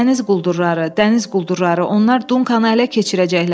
Dəniz quldurları, dəniz quldurları, onlar Dunkanı ələ keçirəcəklər.